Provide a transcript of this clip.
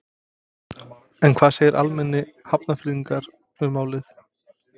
En hvað segja almennir Hafnfirðingar um málið?